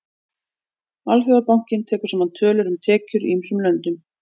Alþjóðabankinn tekur saman tölur um tekjur í ýmsum löndum.